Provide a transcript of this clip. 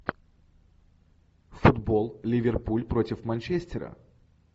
футбол ливерпуль против манчестера